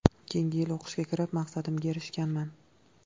Keyingi yil o‘qishga kirib, maqsadimga erishganman.